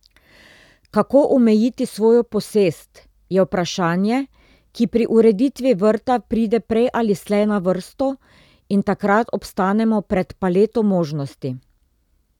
Kako omejiti svojo posest, je vprašanje, ki pri ureditvi vrta pride prej ali slej na vrsto, in takrat obstanemo pred paleto možnosti.